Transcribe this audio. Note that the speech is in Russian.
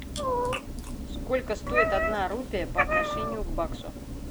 сколько стоит одна рупия по отношению к баксу